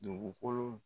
Dugukolo